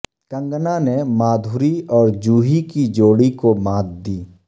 کنگنا نے مادھوری اور جوہی کی جوڑی کو مات دی